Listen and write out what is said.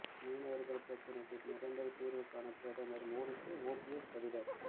மீனவர்கள் பிரச்சனைக்கு நிரந்த தீர்வு காண பிரதமர் மோடிக்கு ஓபிஎஸ் கடிதம்